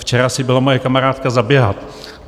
Včera si byla moje kamarádka zaběhat.